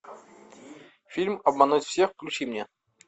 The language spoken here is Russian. фильм обмануть всех включи мне